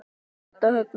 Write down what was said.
Edda, Högni og börn.